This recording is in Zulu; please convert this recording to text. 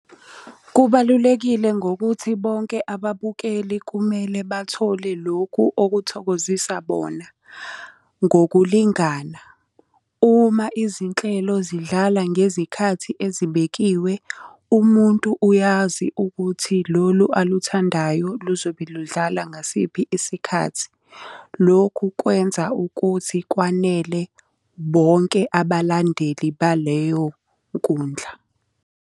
Kubalulekile ngokuthi bonke ababukeli kumele bathole lokhu okuthokozisa bona, ngokulingana. Uma izinhlelo zidlala ngezikhathi ezibekiwe, umuntu uyazi ukuthi lolu aluthandayo luzobe ludala ngasiphi isikhathi. Lokhu kwenza ukuthi kwanele bonke abalandeli baleyo nkundla.